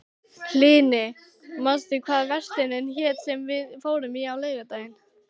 Hlini, manstu hvað verslunin hét sem við fórum í á laugardaginn?